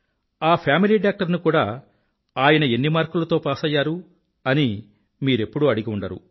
ఆ family doctor ని కూడా ఆయన ఎన్ని మార్కులతో పాసయ్యారు అని మీరెప్పుడూ అడిగి ఉండరు